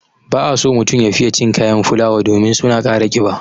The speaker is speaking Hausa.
Ba a so mutum ya fiye cin kayan fulawa domin su na ƙara ƙiba.